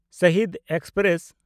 Shaheed express